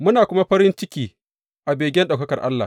Muna kuma farin ciki a begen ɗaukakar Allah.